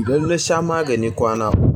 idan na sha magani kwana uku.